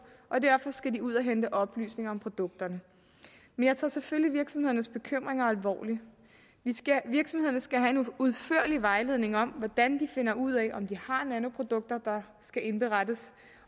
og derfor skal de ud at hente oplysninger om produkterne men jeg tager selvfølgelig virksomhedernes bekymringer alvorligt virksomhederne skal have en udførlig vejledning om hvordan de finder ud af om de har nanoprodukter der skal indberettes